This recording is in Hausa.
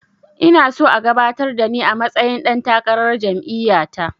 Ina so a gabatar da ni a matsayin ɗan takarar jam'iya ta